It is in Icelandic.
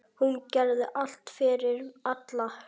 Hún gerði allt fyrir alla.